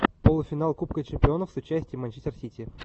полуфинал кубка чемпионов с участием манчестер сити